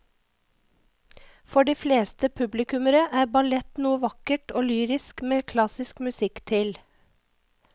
For de fleste publikummere er ballett noe vakkert og lyrisk med klassisk musikk til.